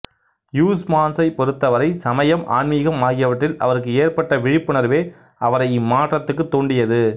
ஹுயிஸ்மான்சைப் பொறுத்தவரை சமயம் ஆன்மீகம் ஆகியவற்றில் அவருக்கு ஏற்பட்ட விழிப்புணர்வே அவரை இம்மாற்றத்துக்குத் தூண்டியது